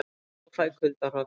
Klæjar og fæ kuldahroll